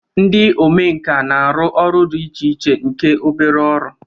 Ndị omenkà na-arụ ọrụ dị iche iche nke obere ọrụ